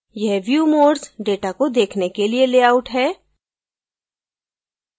यह view modes data को देखने के लिए layout है